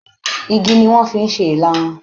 Igi ni wọ́n fi ń ṣe Ìlarun